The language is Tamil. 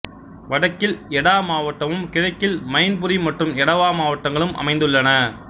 வடக்கில் எடா மாவட்டமும் கிழக்கில் மைன்புரி மற்றும் எடவா மாவட்டங்களும் அமைந்துள்ளன